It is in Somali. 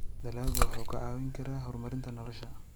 Dalaggu wuxuu kaa caawin karaa horumarinta nolosha.